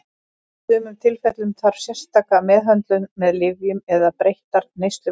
Í sumum tilfellum þarf sérstaka meðhöndlun með lyfjum eða breyttar neysluvenjur.